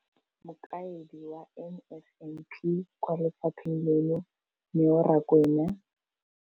Mokaedi wa NSNP kwa lefapheng leno, Neo Rakwena,